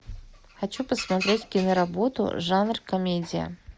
хочу посмотреть кино работу жанр комедия